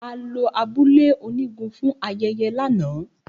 A lo abule onigun fun ayeye lana.